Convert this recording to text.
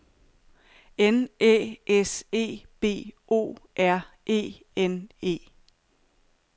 N Æ S E B O R E N E